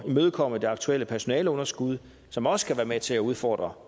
imødekomme det aktuelle personaleunderskud som også kan være med til at udfordre